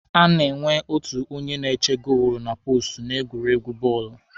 A na-enwe otu onye na-eche goolu na poostu n'egwuregwu bọọlụ.